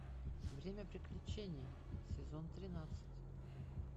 время приключений сезон тринадцать